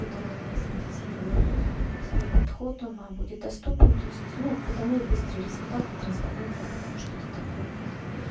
которого я синтезирую особый подход он вам будет доступен то есть ну потому и быстрый результаты трансформация потому что это такое прям